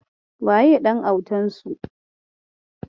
Waye ɗan autansu?